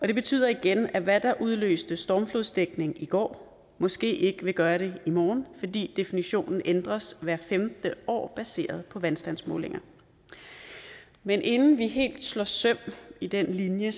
det betyder igen at hvad der udløste stormflodsdækning i går måske ikke vil gøre det i morgen fordi definitionen ændres hvert femte år baseret vandstandsmålinger men inden vi helt slår søm i den linje